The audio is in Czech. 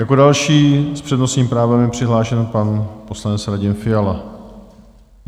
Jako další s přednostním právem je přihlášen pan poslanec Radim Fiala.